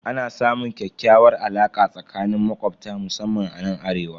Ana samun ƙyakkyawar alaka tsakanin makobta musamman anan arewa.